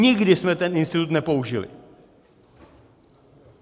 Nikdy jsme ten institut nepoužili.